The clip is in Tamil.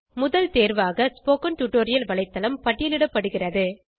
முதல் தேர்வாக ஸ்போக்கன் டியூட்டோரியல் வலைத்தளம் பட்டியலிடப்படுகிறது